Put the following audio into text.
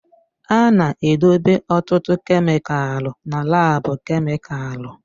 A na-edobe ọtụtụ kemịkalụ na laabu kemịkalụ